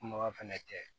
Kumaba fɛnɛ tɛ